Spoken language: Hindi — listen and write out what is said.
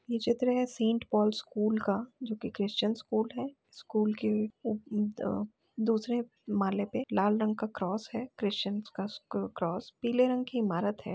ये चित्र है सेंट पॉल स्कूल का जो कि क्रिश्चियन स्कूल है। स्कूल के उप अ दूसरे माले पे लाल रंग का क्रॉस है। क्रिश्चियन का क्रॉस पीले रंग की इमारत है।